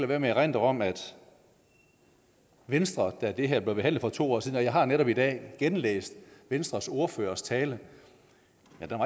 være med at erindre om at venstre da det her blev behandlet for to år siden og jeg har netop i dag genlæst venstres ordførers tale